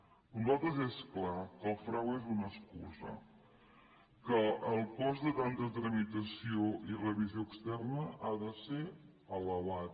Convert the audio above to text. per a nosaltres és clar que el frau és una excusa que el cost de tanta tramitació i revisió externa ha de ser elevat